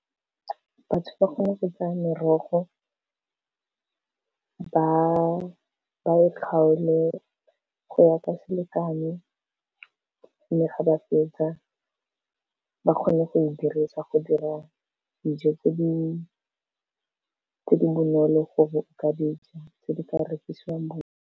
Batho ba kgona go tsaya merogo ba e kgaole go ya ka selekano, mme ga ba fetsa ba kgona go e dirisa go dira dijo tse di tse di bonolo go ka dija tse di ka rekisiwang .